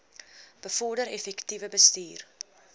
bevorder effektiewe bestuur